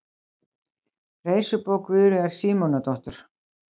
Reisubók Guðríðar Símonardóttur.